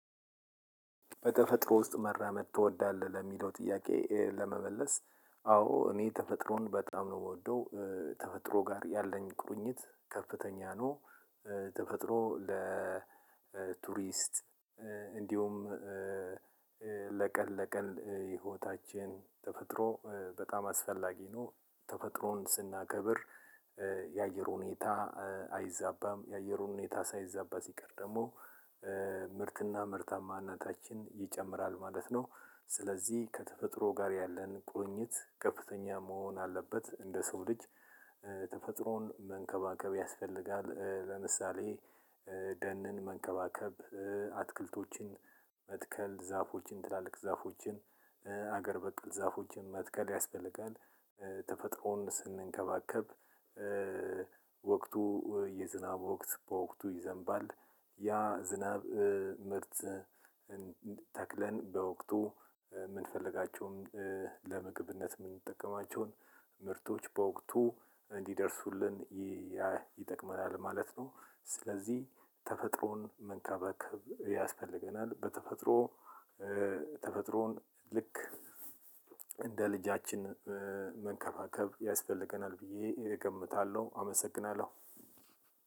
በተፈጥሮ ውስጥ መራመድ ትወዳለህ ለሚለው ጥያቄ ለመመለስ አዎ እኔ ተፈጥሮን በጣም ነው የምወደው ተፈጥሮ ጋር ያለኝ ቁርኝት ከፍተኛ ነው። ተፈጥሮ ለቱሪስት እንዲሁም ለቀን ለቀን ህይወታችን ተፈጥሮ በጣም አስፈላጊ ነው። ተፈጥሮን ስናከብር የአየሩ ሁኔታ አይዛባም የአየሩ ሁኔታ ሳይዛባ ሲቀር ደግሞ ምርትና ምርታማነታችን ይጨምራል ማለት ነው። ስለዚህ ከተፈጥሮ ጋር ያለን ቁርኝት ከፍተኛ መሆን አለበት እንደ ሰው ልጅ ተፈጥሮን መንከባከብ ያስፈልጋል። ለምሳሌ ደንን መንከባከብ አትክልቶችን መትከል ዛፎችን ትላልቅ ዛፎችን ሀገር በቀል ዛፎችን መትከል ያስፈልጋል። ተፈጥሮን ስንከባከብ ወቅቱ የዝናብ ወቅት በወቅቱ ይዘንባል። ያ ዝናብ ምርት በወቅቱ የምንፈልጋቸውን ለምግብነት የምንጠቀማቸውን ምርቶች በወቅቱ እንዲደርሱልን ይያ ይጠቅመናል ማለት ነው። ስለዚህ ተፈጥሮን መንከባከብ ያስፈልገናል። በተፈጥሮ ተፈጥሮን ልክ እንደ ልጃችን መንከባከብ ያስፈልገናል ብዬ እገምታለሁ አመሰግናለሁ።